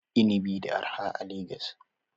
Inibi na da arha a Legas.